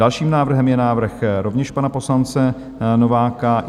Dalším návrhem je návrh rovněž pana poslance Nováka.